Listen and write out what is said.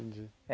Entendi.